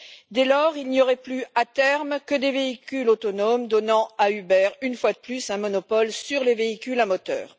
Dès lors, il n'y aurait plus, à terme, que des véhicules autonomes donnant à Uber, une fois de plus, un monopole sur les véhicules à moteur.